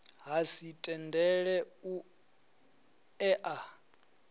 ha si tendele u ea